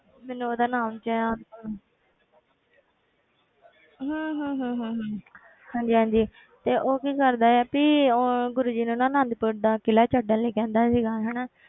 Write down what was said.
ਮੈਨੂੰ ਉਹਦਾ ਨਾਮ ਯਾ~ ਹਮ ਹਮ ਹਮ ਹਮ ਹਮ ਹਾਂਜੀ ਹਾਂਜੀ ਤੇ ਉਹ ਕੀ ਕਰਦਾ ਹੈ ਵੀ ਉਹ ਗੁਰੂ ਜੀ ਨੂੰ ਨਾ ਆਨੰਦਪੁਰ ਦਾ ਕਿਲ੍ਹਾ ਛੱਡਣ ਲਈ ਕਹਿੰਦਾ ਸੀਗਾ ਹਨਾ